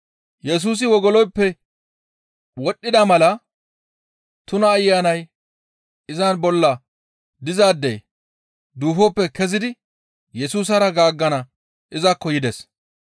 Yesusi wogoloyppe wodhdhida mala tuna ayanay iza bolla dizaadey duufoppe kezidi Yesusara gaaggana izakko yides.